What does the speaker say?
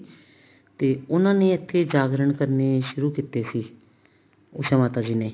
ਤੇ ਉਹਨਾ ਨੇ ਇੱਥੇ ਜਾਗਰਣ ਕਨੇ ਸ਼ੁਰੂ ਕਿਤੇ ਸੀ ਉਸ਼ਾ ਮਾਤਾ ਜੀ ਨੇ